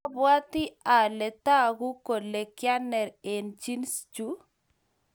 abwatii ale taku kole kianer eng jeans chuu.